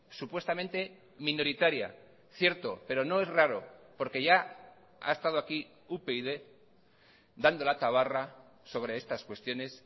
supuestamente minoritaria cierto pero no es raro porque ya ha estado aquí upyd dando la tabarra sobre estas cuestiones